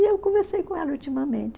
E eu conversei com ela ultimamente.